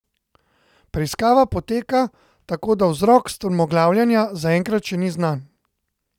Preiskava poteka, tako da vzrok strmoglavljenja zaenkrat še ni znan.